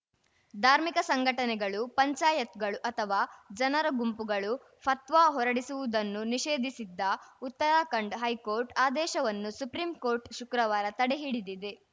ಧಾರ್ಮಿಕ ಸಂಘಟನೆಗಳು ಪಂಚಾಯತ್‌ಗಳು ಅಥವಾ ಜನರ ಗುಂಪುಗಳು ಫತ್ವಾ ಹೊರಡಿಸುವುದನ್ನು ನಿಷೇಧಿಸಿದ್ದ ಉತ್ತರಾಖಂಡ ಹೈಕೋರ್ಟ್‌ ಆದೇಶವನ್ನು ಸುಪ್ರೀಂಕೋರ್ಟ್‌ ಶುಕ್ರವಾರ ತಡೆ ಹಿಡಿದಿದೆ